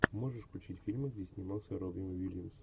можешь включить фильмы где снимался робин уильямс